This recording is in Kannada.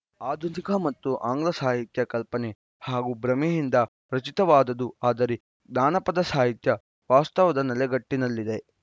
ಆಧುನಿಕ ಮತ್ತು ಆಂಗ್ಲ ಸಾಹಿತ್ಯ ಕಲ್ಪನೆ ಹಾಗೂ ಭ್ರಮೆಯಿಂದ ರಚಿತವಾದುದು ಆದರೆ ಜಾನಪದ ಸಾಹಿತ್ಯ ವಾಸ್ತವದ ನೆಲೆಗಟ್ಟಿನಲ್ಲಿದೆ